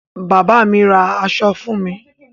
Bàbá mi ra aṣọ fún mi.